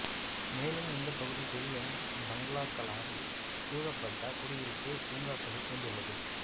மேலும் இந்தப் பகுதி பெரிய பங்களாக்களால் சூழப்பட்ட குடியிருப்பு பூங்காக்களைக் கொண்டுள்ளது